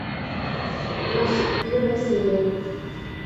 пес первая серия